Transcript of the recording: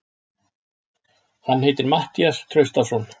Hann heitir Matthías Traustason.